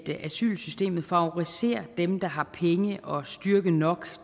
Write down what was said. asylsystemet favoriserer dem der har penge og styrke nok